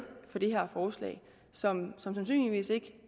for det her forslag som sandsynligvis ikke